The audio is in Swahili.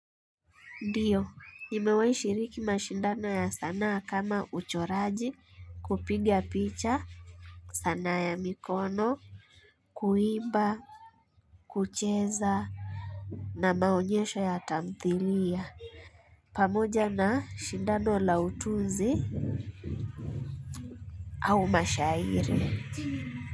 Ndio nimewahi shiriki mashindano ya sanaa kama uchoraji, kupiga picha, sanaa ya mikono, kuimba kucheza na maonyesho ya tamthilia pamoja na shindano la utunzi au mashairi.